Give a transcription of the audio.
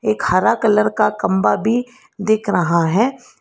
एक हरा कलर का खम्बा भी दिख रहा है।